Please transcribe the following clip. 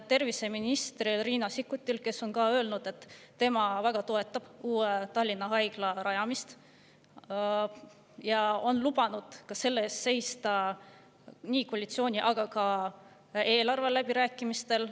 Terviseminister Riina Sikkut on öelnud, et tema toetab uue Tallinna Haigla rajamist, ja on lubanud selle eest seista nii koalitsiooni‑ kui ka eelarveläbirääkimistel.